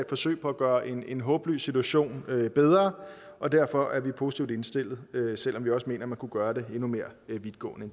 forsøg på at gøre en en håbløs situation bedre og derfor er vi positivt indstillet selv om vi også mener at man kunne gøre det endnu mere vidtgående